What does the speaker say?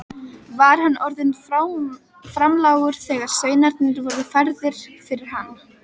Var hann orðinn framlágur þegar sveinarnir voru færðir fyrir hann.